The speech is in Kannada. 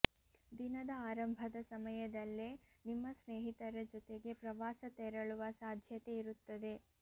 ದಿನದ ಆರಂಭದ ಸಮಯದಲ್ಲೇ ನಿಮ್ಮ ಸ್ನೇಹಿತರ ಜೊತೆಗೆ ಪ್ರವಾಸ ತೆರಳುವ ಸಾಧ್ಯತೆ ಇರುತ್ತದೆ